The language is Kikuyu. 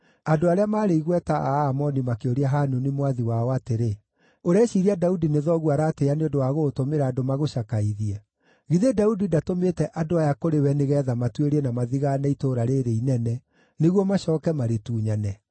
andũ arĩa maarĩ igweta a Aamoni makĩũria Hanuni mwathi wao atĩrĩ, “Ũreciiria Daudi nĩ thoguo aratĩĩa nĩ ũndũ wa gũgũtũmĩra andũ magũcakaithie? Githĩ Daudi ndatũmĩte andũ aya kũrĩ we nĩgeetha matuĩrie na mathigaane itũũra rĩĩrĩ inene, nĩguo macooke marĩtunyane?”